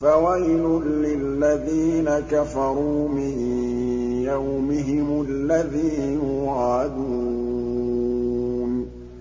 فَوَيْلٌ لِّلَّذِينَ كَفَرُوا مِن يَوْمِهِمُ الَّذِي يُوعَدُونَ